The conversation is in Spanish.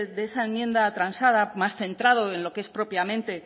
de esa enmienda transada más centrado en lo que es propiamente